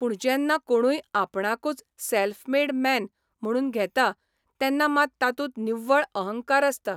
पूण जेन्ना कोणूय आपणाकूच सॅल्फ मेड मॅन म्हणून घेता तेन्ना मात तातूंत निव्वळ अहंकार आसता.